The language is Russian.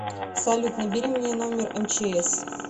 салют набери мне номер мчс